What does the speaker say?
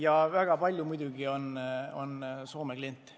Ja väga palju muidugi on Soome kliente.